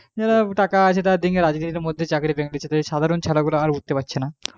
যাদের টাকা আছে তাদের রাজনীতির মধ্যে চাকরি পেয়েনিচ্ছে সাধারণ ছেলে গুলো উঠতে পারছেনা